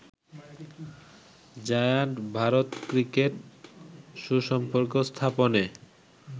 giant ভারত ক্রিকেট সুসম্পর্ক স্থাপনে